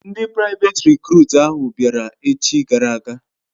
Ndi privet recrut ahu biara echi gara aga